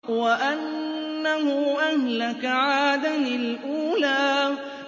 وَأَنَّهُ أَهْلَكَ عَادًا الْأُولَىٰ